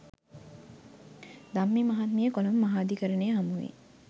ධම්මි මහත්මිය කොළඹ මහාධිකරණය හමුවේ